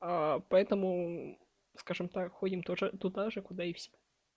поэтому скажем так ходим туда же куда и все